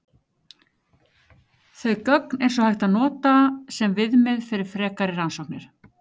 Þau gögn er svo hægt að nota sem viðmið fyrir frekari rannsóknir.